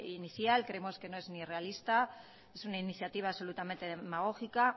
inicial creemos que no es ni realista es una iniciativa absolutamente demagógica